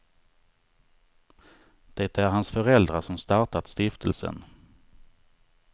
Det är hans föräldrar som startat stiftelsen.